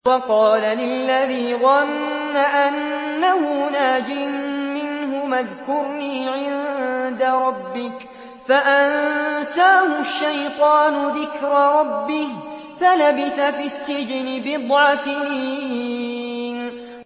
وَقَالَ لِلَّذِي ظَنَّ أَنَّهُ نَاجٍ مِّنْهُمَا اذْكُرْنِي عِندَ رَبِّكَ فَأَنسَاهُ الشَّيْطَانُ ذِكْرَ رَبِّهِ فَلَبِثَ فِي السِّجْنِ بِضْعَ سِنِينَ